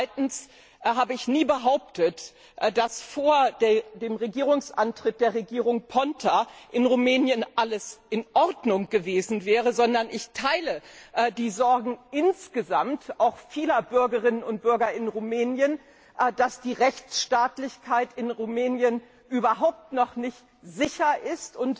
Zweitens habe ich nie behauptet, dass vor dem Regierungsantritt der Regierung Ponta in Rumänien alles in Ordnung gewesen wäre, sondern ich teile die Sorgen vieler Bürgerinnen und Bürger in Rumänien, dass die Rechtsstaatlichkeit in Rumänien überhaupt noch nicht sicher ist.